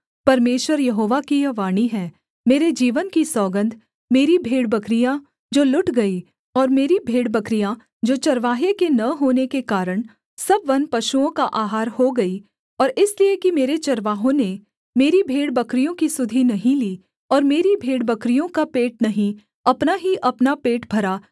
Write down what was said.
परमेश्वर यहोवा की यह वाणी है मेरे जीवन की सौगन्ध मेरी भेड़बकरियाँ जो लुट गई और मेरी भेड़बकरियाँ जो चरवाहे के न होने के कारण सब वनपशुओं का आहार हो गई और इसलिए कि मेरे चरवाहों ने मेरी भेड़बकरियों की सुधि नहीं ली और मेरी भेड़बकरियों का पेट नहीं अपना ही अपना पेट भरा